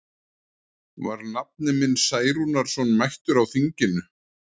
Var nafni minn Særúnarson mættur á þinginu?